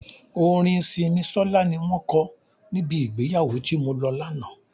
Orin Simisola ni wọn ko níbi ìgbéyàwó tí mo lọ lánàá.